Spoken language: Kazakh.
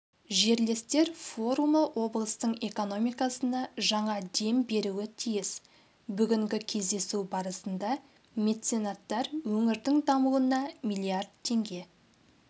жерлестер форумы облыстың экономикасына жаңа дем беруі тиіс бүгінгі кездесу барысында меценаттар өңірдің дамуына миллиард теңге